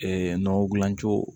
nɔgɔ dilan cogo